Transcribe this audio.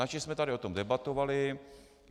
Načež jsme tady o tom debatovali.